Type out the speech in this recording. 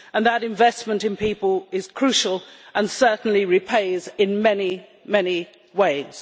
That investment in people is crucial, and it certainly repays in many ways.